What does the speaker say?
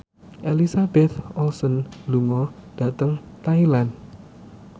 Elizabeth Olsen lunga dhateng Thailand